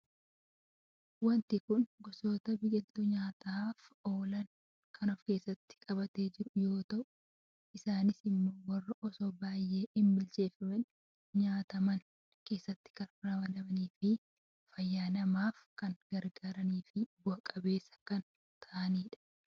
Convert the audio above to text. Waanti kun goosota biqiltuu nyaataaf oolan kan of keessatti qabatee jiru yoo ta'u isaanis immoo warraa osoo baay’ee hin bilcheefamiin nyaataman keessatti kan ramadamanii fi fayyaa namaaf kan gargaaraniifi bu'aa qabeessaa kan ta'anidha.